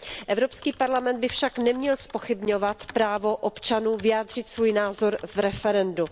Evropský parlament by však neměl zpochybňovat právo občanů vyjádřit svůj názor v referendu.